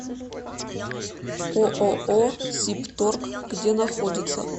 ооо сибторг где находится